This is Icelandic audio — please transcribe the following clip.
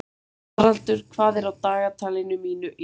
Haraldur, hvað er á dagatalinu mínu í dag?